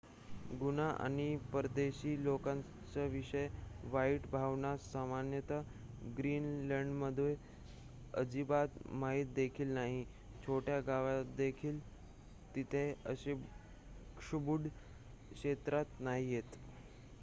गुन्हा आणि परदेशी लोकांविषयी वाईट भावना सामान्यत ग्रीनलंडमध्ये अजिबात माहित देखील नाही छोट्या गावात देखील तिथे अशी क्षुब्ध क्षेत्रे' नाहीयेत